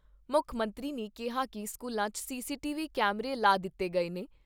ਮੁੱਖ ਮੰਤਰੀ ਨੇ ਕਿਹਾ ਕਿ ਸਕੂਲਾਂ 'ਚ ਸੀਸੀਟੀ ਵੀ ਕੈਮਰੇ ਲਾ ਦਿੱਤੇ ਗਏ ਨੇ।